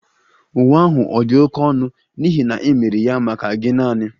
Uwe ahụ ọ̀ dị oké ọnụ n'ihi na e mere ya maka gi naani?